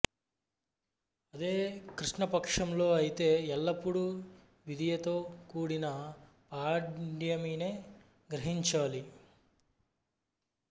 అదే కృష్ణపక్షంలో అయితే ఎల్లప్పుడు విదియతో కూడిన పాడ్యమినే గ్రహించాలి